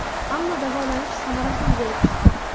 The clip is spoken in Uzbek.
Ammo davolanish samarasiz bo‘lib chiqdi.